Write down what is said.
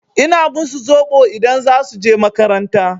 Ina musu zoɓo idan za su je makaranta.